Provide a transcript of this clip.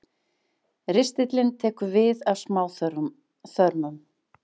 Ristillinn tekur við af smáþörmum.